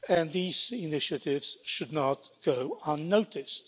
These initiatives should not go unnoticed.